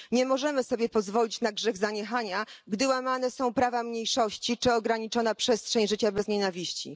Nie możemy sobie pozwolić na grzech zaniechania, gdy łamane są prawa mniejszości czy ograniczana jest przestrzeń życia bez nienawiści.